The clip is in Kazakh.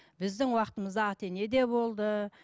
біздің уақытымызда ата ене де болды